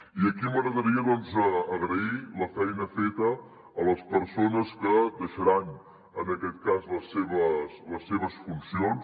i aquí m’agradaria agrair la feina feta a les persones que deixaran en aquest cas les seves funcions